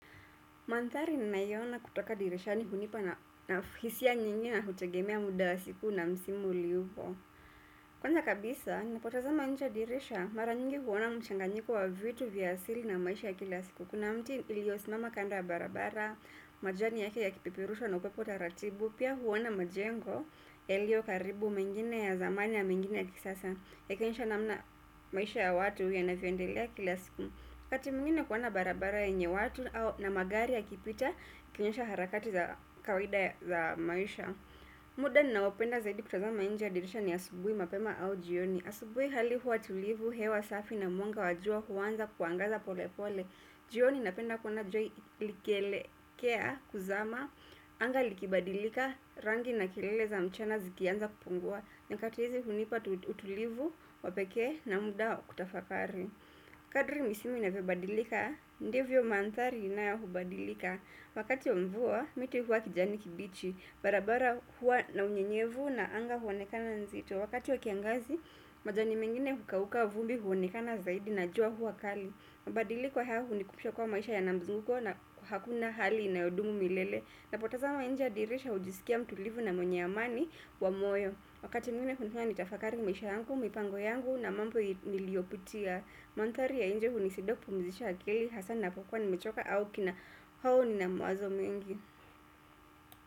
Mandhari ninayoona kutoka dirishani hunipa na hisia nyingi na hutegemea muda wa siku na msimu uliopo. Kwanza kabisa, napotazama inje dirisha, mara nyingi huona mchanganyiko wa vitu vya asili na maisha ya kila siku. Kuna mti ulio simama kando ya barabara, majani yake ya kipeperushwa na upepo taratibu, pia huona majengo, yalio karibu mengine ya zamani na mengine ya kisasa, ya kionyesha namna maisha ya watu ya navyoendelea kila siku. Wakati mwingine kuona barabara yenye watu au na magari ya kipita, kionyesha harakati za kawida za maisha. Muda ninaopenda zaidi kutazama inje ya dirisha ni asubuhi mapema au jioni. Asubuhi hali huwa tulivu, hewa safi na mwanga wajua huanza kuangaza pole pole. Jioni napenda kuona jua likielekea, kuzama, anga likibadilika, rangi na kilele za mchana zikianza kupungua. Nyakati hizi hunipa utulivu, wapekee na muda wa kutafakari. Kadri misimu inavyobadilika, ndivyo mandhari inayobadilika wakati wa mvua, miti huwa kijani kibichi, barabara huwa na unyenyevu na anga huonekana nzito wakati wa kiangazi, majani mengine hukauka vumbi huonekana zaidi na jua huwa kali mabadiliko haya hunikumbusha kuwa maisha yanamzunguko na hakuna hali inayodumu milele. Napotazama inje ya dirisha hujisikia mtulivu na mwenye amani wa moyo wakati mwingine hunifanya ni tafakari maisha yangu, mipango yangu na mambo niliyopitia mandhari ya inje hunisaidia kupumzisha akili hasa napokwa ni mechoka au kina au nina mawazo mengi.